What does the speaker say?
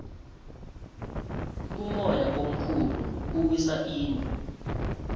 umoya omkhulu uwisa izindlu